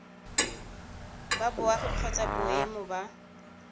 ba boagi kgotsa boemo ba